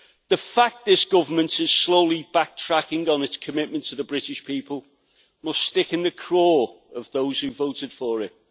The fact this government is slowly backtracking on its commitment to the British people must stick in the craw of those who voted for it.